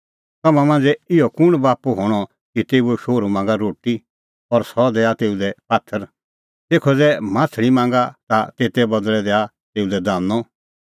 तम्हां मांझ़ै इहअ कुंण बाप्पू हणअ कि तेऊओ शोहरू मांगा रोटी और सह दैआ तेऊ लै पात्थर तेखअ ज़ै माह्छ़ली मांगा ता तेते बदल़ै दैआ तेऊ लै दानअ